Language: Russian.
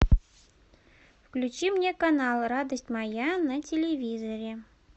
включи мне канал радость моя на телевизоре